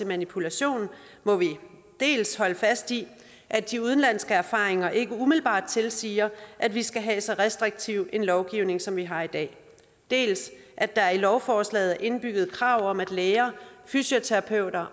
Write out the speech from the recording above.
manipulation må vi dels holde fast i at de udenlandske erfaringer ikke umiddelbart tilsiger at vi skal have en så restriktiv lovgivning som vi har i dag dels at der i lovforslaget er indbygget krav om at læger fysioterapeuter